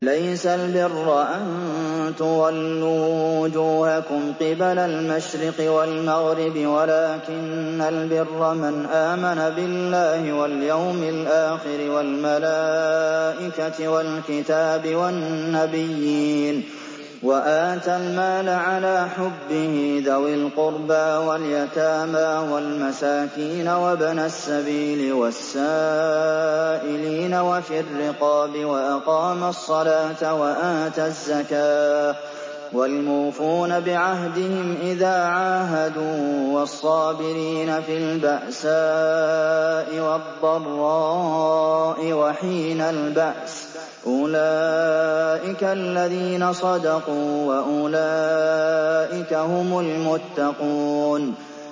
۞ لَّيْسَ الْبِرَّ أَن تُوَلُّوا وُجُوهَكُمْ قِبَلَ الْمَشْرِقِ وَالْمَغْرِبِ وَلَٰكِنَّ الْبِرَّ مَنْ آمَنَ بِاللَّهِ وَالْيَوْمِ الْآخِرِ وَالْمَلَائِكَةِ وَالْكِتَابِ وَالنَّبِيِّينَ وَآتَى الْمَالَ عَلَىٰ حُبِّهِ ذَوِي الْقُرْبَىٰ وَالْيَتَامَىٰ وَالْمَسَاكِينَ وَابْنَ السَّبِيلِ وَالسَّائِلِينَ وَفِي الرِّقَابِ وَأَقَامَ الصَّلَاةَ وَآتَى الزَّكَاةَ وَالْمُوفُونَ بِعَهْدِهِمْ إِذَا عَاهَدُوا ۖ وَالصَّابِرِينَ فِي الْبَأْسَاءِ وَالضَّرَّاءِ وَحِينَ الْبَأْسِ ۗ أُولَٰئِكَ الَّذِينَ صَدَقُوا ۖ وَأُولَٰئِكَ هُمُ الْمُتَّقُونَ